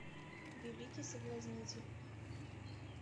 великий соблазнитель